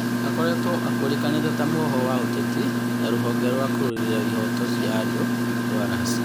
Akoretwo akũrĩkanĩte ta mwohwo wa ũteti na rũhonge rwa kũrũĩrĩra ihooto cia andũ rũa Rasia.